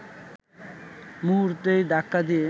মুহূর্তেই ধাক্কা দিয়ে